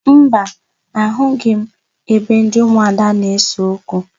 Mba, ahụghị m ebe ndị ụmụada na-ese okwu.